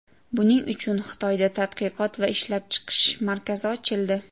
Buning uchun Xitoyda tadqiqot va ishlab chiqish markazi ochildi.